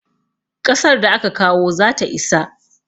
Ƙasar da aka kawo zata isa.